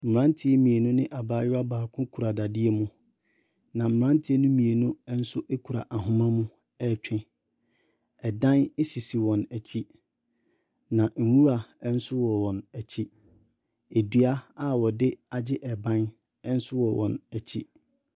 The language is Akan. Mmeranteɛ mmienu ne abayewa baako kura dadeɛ mu, na mmeranteɛ no mmienu nso kura ahoma mo retwe. Dan sisi wɔn akyi, na nwura nso wɔ wɔn akyi. Dua a wɔde agye ban nso wɔ wɔn akyi.